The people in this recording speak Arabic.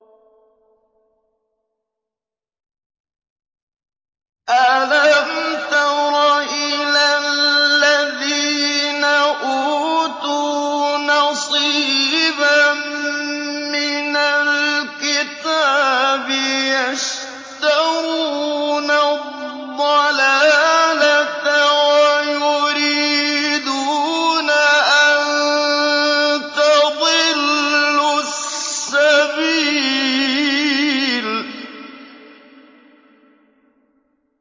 أَلَمْ تَرَ إِلَى الَّذِينَ أُوتُوا نَصِيبًا مِّنَ الْكِتَابِ يَشْتَرُونَ الضَّلَالَةَ وَيُرِيدُونَ أَن تَضِلُّوا السَّبِيلَ